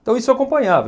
Então isso acompanhava.